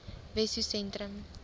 wessosentrum